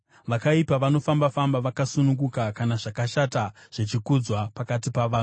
Vakaipa vanofamba-famba vakasununguka kana zvakashata zvichikudzwa pakati pavanhu.